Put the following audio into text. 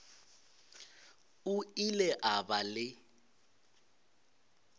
o ile a ba le